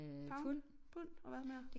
Pound pund og hvad mere?